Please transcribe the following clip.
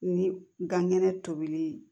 Ni gɛnɛ tobili